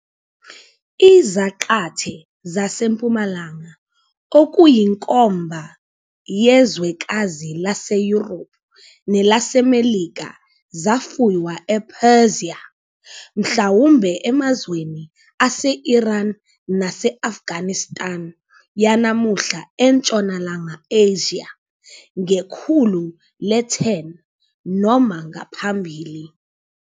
Izaqathe "zaseMpumalanga", okuyinkomba yezwekazi laseYurophu nelaseMelika, zafuywa ePersia, mhlawumbe emazweni aseIran nase- Afghanistan yanamuhla eNtshonalanga Asia, ngekhulu le-10, noma ngaphambili.